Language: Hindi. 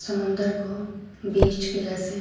समुंदर को बीच के जैसे--